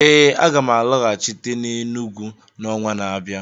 Ee, aga m alọghachite n'Enugwu n'ọnwa na-abịa